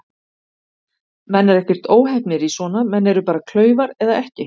Menn eru ekkert óheppnir í svona, menn eru bara klaufar eða ekki.